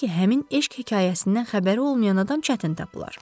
Halbuki həmin eşq hekayəsindən xəbəri olmayan adam çətin tapılar.